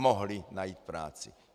Mohli najít práci!